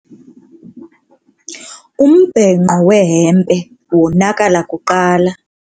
Umbhenqo wehempe wonakala kuqala.